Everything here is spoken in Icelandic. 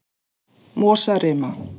Mosarima